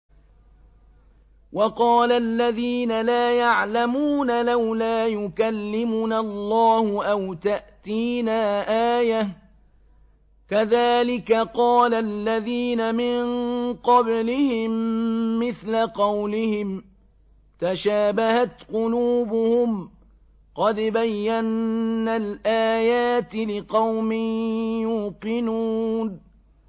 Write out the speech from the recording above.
وَقَالَ الَّذِينَ لَا يَعْلَمُونَ لَوْلَا يُكَلِّمُنَا اللَّهُ أَوْ تَأْتِينَا آيَةٌ ۗ كَذَٰلِكَ قَالَ الَّذِينَ مِن قَبْلِهِم مِّثْلَ قَوْلِهِمْ ۘ تَشَابَهَتْ قُلُوبُهُمْ ۗ قَدْ بَيَّنَّا الْآيَاتِ لِقَوْمٍ يُوقِنُونَ